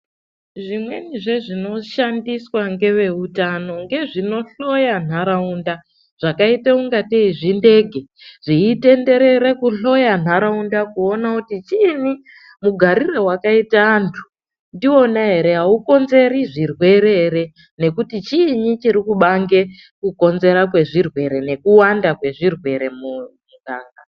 Zvimweni zvezvinoshandiswa ngeveutano ngezvinohloya ndaraunda zvakaita kungatei zvindege zveitenderera kuhloya nharaunda kuona kuti chiinyi?, mugarire wakaita antu ndiwona ere?,aukonzeri zvirwere ere?, nekuti chiinyi chirikubange kukonzera kwezvirwere nekuwanda kwezvirwere mumuganga.